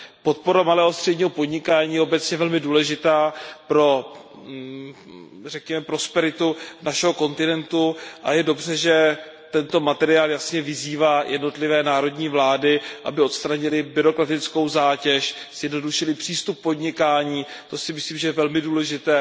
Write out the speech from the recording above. Podpora malého a středního podnikání je obecně velmi důležitá pro prosperitu našeho kontinentu a je dobře, že tento materiál jasně vyzývá jednotlivé národní vlády, aby odstranily byrokratickou zátěž, zjednodušily přístup k podnikání, to si myslím, že je velmi důležité.